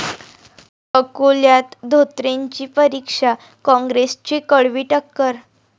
अकोल्यात धोत्रेंची परीक्षा, काँग्रेसची कडवी टक्कर!